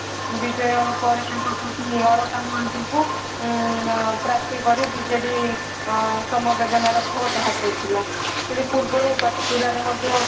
ବିଜୟ ପରେ ତାଙ୍କ ପତ୍ନୀ ଅଳକା ମହାନ୍ତିଙ୍କୁ ଉଁ ପାର୍ଥୀ କରି ବିଜେଡି ସମବେଦନାର ଭୋଟ ହାତେଇଥିଲା ପୁଣି ପୂର୍ବ ରୁ ପାଟକୁରାରେ ମଧ୍ୟ